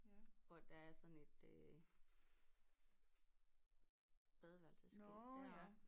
Hvor at der er sådan et øh badeværelsesskilt deroppe